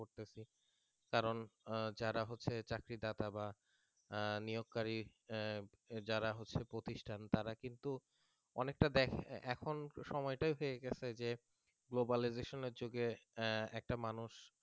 কারণ যারা হচ্ছে চাকরিদাতা বা নিয়োগ কারী যারা হচ্ছে প্রতিষ্ঠান তারা কিন্তু অনেকটা দেখে এখন সময়টাই হয়ে গেছে যে globalisation এর যুগে একটা মানুষ